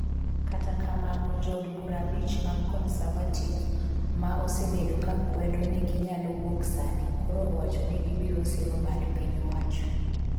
kata kamano, jood bura abich mag Conservative ma osebedo kakwedo ni ginyalo wuoksani koro owacho ni gibiro siro bad piny owacho